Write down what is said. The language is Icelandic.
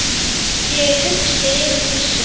Ég er hugsi yfir þessu.